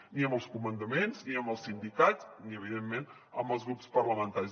ni amb els comandaments ni amb els sindicats ni evidentment amb els grups parlamentaris